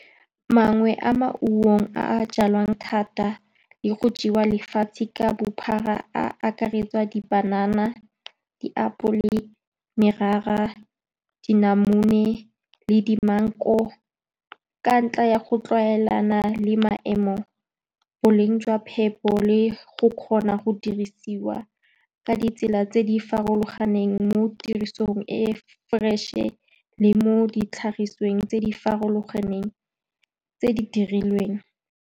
Mangwe a maungo a a jalwang thata le go jewa lefatshe ka bophara a akaretsa dipanana, diapole, morara, dinamune le di-mengu, ka ntlha ya go tlwaelana le maemo, boleng jwa phepo le go kgona go dirisiwa ka ditsela tse di farologaneng, mo tirisong e e fresh-e le mo ditlhagisweng tse di farologaneng tse di dirilweng.